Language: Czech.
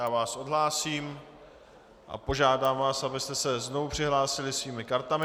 Já vás odhlásím a požádám vás, abyste se znovu přihlásili svými kartami.